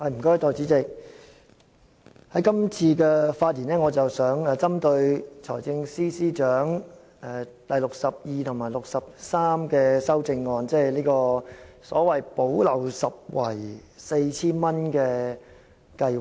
代理主席，今次的發言我想針對財政司司長編號62及63的修正案，即所謂"補漏拾遺"的 4,000 元計劃。